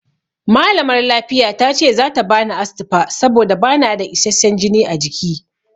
Malamar lafiya tace zata bani Astifa saboda bana da isasshen jini a jiki.